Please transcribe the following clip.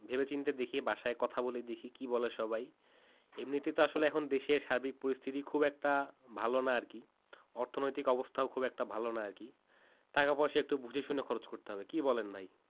ভেবেচিন্তে দেখি বাসায় কথা বলে দেখি কি বলে সবাই এমনিতেই তো এখন দেশের স্বাভাবিক পরিস্থিতি খুব একটা ভালো নয় আর কি অর্থনৈতিক অবস্থা খুব একটা ভালো নয় আর কি টাকা-পয়সা একটু বুঝে শুনে খরচ করতে হবে কি বলেন ভাই?